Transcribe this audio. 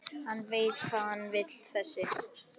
Hann veit hvað hann vill þessi!